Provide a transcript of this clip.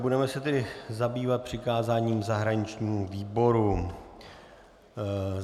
Budeme se tedy zabývat přikázáním zahraničnímu výboru.